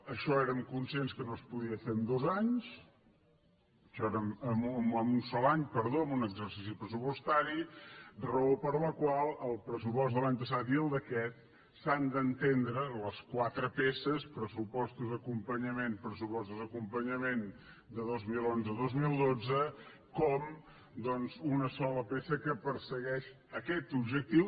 això érem conscients que no es podia fer en un sol any en un exercici pressupostari raó per la qual el pressupost de l’any passat i el d’aquest s’han d’entendre les quatre peces pressupostos acompanyament pressupostos acompanyament de dos mil onze i dos mil dotze com doncs una sola peça que persegueix aquest objectiu